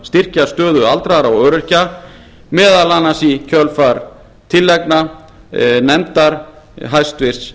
styrkja stöðu aldraðra og öryrkja meðal annars í kjölfar tillagna nefndar hæstvirts